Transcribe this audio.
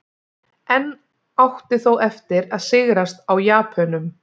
Enn átti þó eftir að sigrast á Japönum.